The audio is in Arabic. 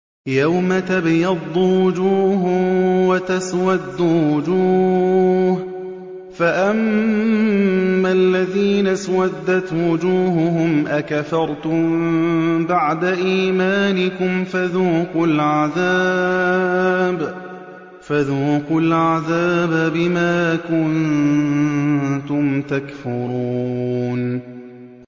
يَوْمَ تَبْيَضُّ وُجُوهٌ وَتَسْوَدُّ وُجُوهٌ ۚ فَأَمَّا الَّذِينَ اسْوَدَّتْ وُجُوهُهُمْ أَكَفَرْتُم بَعْدَ إِيمَانِكُمْ فَذُوقُوا الْعَذَابَ بِمَا كُنتُمْ تَكْفُرُونَ